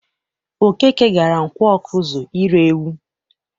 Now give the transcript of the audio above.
Okeke gara Nkwọ Ọkụzụ ire ewu.